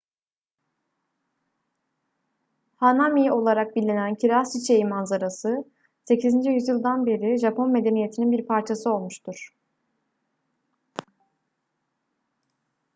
hanami olarak bilinen kiraz çiçeği manzarası 8. yüzyıldan beri japon medeniyetinin bir parçası olmuştur